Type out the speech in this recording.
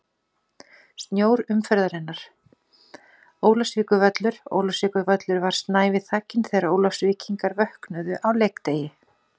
Snjór umferðarinnar: Ólafsvíkurvöllur Ólafsvíkurvöllur var snævi þakinn þegar Ólafsvíkingar vöknuðu á leikdegi.